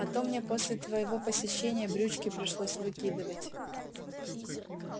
а то мне после твоего посещения брючки пришлось выкидывать